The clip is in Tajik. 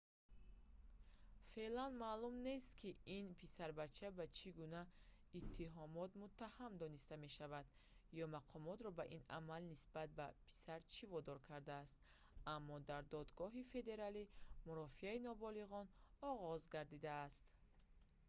феълан маълум нест ки ин писарбача ба чӣ гуна иттиҳомот муттаҳам дониста мешаванд ё мақомотро ба ин амал нисбат ба писар чӣ водор кардааст аммо дар додгоҳи федералӣ мурофиаи ноболиғон оғоз гардидааст